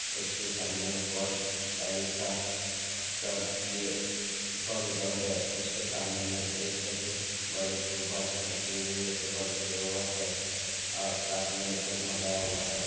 उसके सामने post stall का काम यह कॉरिडोर है उसके सामने में एक बड़े रखी हुई है टेबल रखा हुआ है साथ में जगमगाना हुआ है।